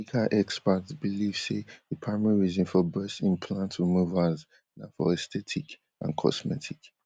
medical experts believe say di primary reason for breast implant removals na for aesthetic and cosmetic